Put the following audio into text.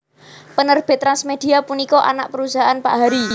Penerbit TransMedia punika anak perusahaan Pak Harry